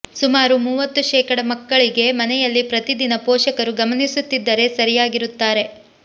ಸುಮಾರು ಮೂವತ್ತು ಶೇಕಡಾ ಮಕ್ಕಳಿಗೆ ಮನೆಯಲ್ಲಿ ಪ್ರತಿದಿನ ಪೋಷಕರು ಗಮನಿಸುತ್ತಿದ್ದರೆ ಸರಿಯಾಗಿರುತ್ತಾರೆ